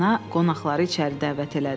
Ana qonaqları içəri dəvət elədi.